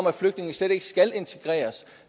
at flygtninge slet ikke skal integreres